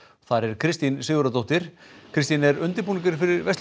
þar er Kristín Sigurðardóttir Kristín er undirbúningur